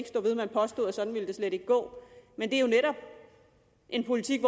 stå ved man påstod at sådan ville det slet ikke gå men det er jo netop en politik